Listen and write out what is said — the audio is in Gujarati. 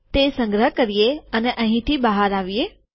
તે સંગ્રહ કરીએ અને અહીંથી બહાર આવીએ